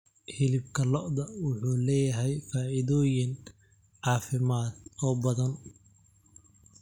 Hilibka lo'da wuxuu leeyahay faa'iidooyin caafimaad oo badan.